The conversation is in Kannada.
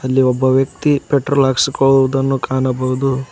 ಅಲ್ಲಿ ಒಬ್ಬ ವ್ಯಕ್ತಿ ಪೆಟ್ರೋಲ್ ಹಾಕಿಸಕೊಳುವದನ್ನು ಕಾಣಬಹುದು.